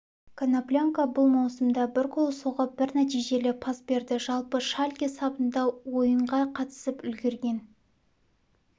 коноплянка бұл маусымда бір гол соғып бір нәтижелі пас берді жалпы шальке сапында ойынға қатысып үлгерген